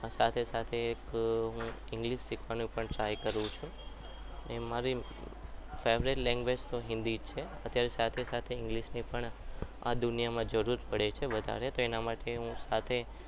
સાથે સાથે એક હું english શીખવાનો પણ try કરું છું. મારી favorite lauguage તો હિન્દી છે. અત્યારે સાથે સાથે english ની પણ આ દુનિયામાં જરૂર પડે છે વધારે તો અના માટે હું